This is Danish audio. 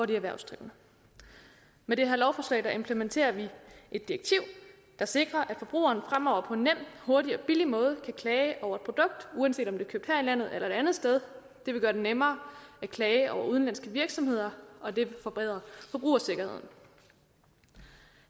de erhvervsdrivende med det her lovforslag implementerer vi et direktiv der sikrer at forbrugeren fremover på en nem hurtig og billig måde kan klage over et produkt uanset om det er købt her i landet eller et andet sted det vil gøre det nemmere at klage over udenlandske virksomheder og det vil forbedre forbrugersikkerheden